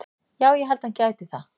Já ég held að hann gæti það.